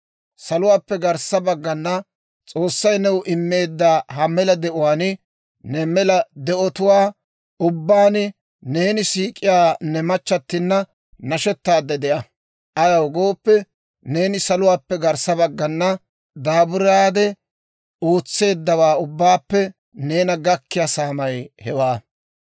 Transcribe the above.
Saluwaappe garssa baggana S'oossay new immeedda ha mela de'uwaan, ne mela de'otuwaa ubbaan neeni siik'iyaa ne machchattinna nashetaadde de'a; ayaw gooppe, neeni saluwaappe garssa baggana daaburaade ootseeddawaa ubbaappe neena gakkiyaa saamay hewaa.